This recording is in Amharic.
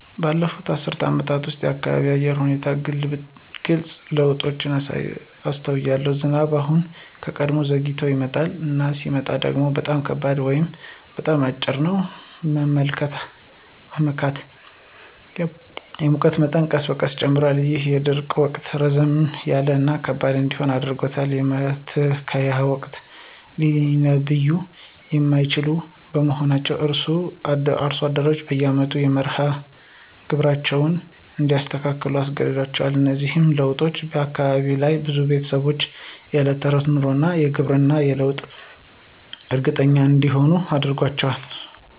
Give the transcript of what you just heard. ባለፉት አስርት ዓመታት ውስጥ፣ በአካባቢው የአየር ሁኔታ ላይ ግልጽ ለውጦችን አስተውያለሁ። ዝናቡ አሁን ከቀድሞው ዘግይቶ ይመጣል፣ እና ሲመጣ ደግሞ በጣም ከባድ ነው ወይም በጣም አጭር ነው ለመመካት። የሙቀት መጠኑ ቀስ በቀስ ጨምሯል, ይህም የደረቁ ወቅት ረዘም ያለ እና ከባድ እንዲሆን አድርጎታል. የመትከያ ወቅቶችም ሊተነብዩ የማይችሉ በመሆናቸው አርሶ አደሮች በየአመቱ መርሃ ግብራቸውን እንዲያስተካክሉ አስገድዷቸዋል. እነዚህ ለውጦች በአካባቢው ላሉ ብዙ ቤተሰቦች የዕለት ተዕለት ኑሮ እና ግብርና የበለጠ እርግጠኛ እንዳይሆኑ አድርጓቸዋል።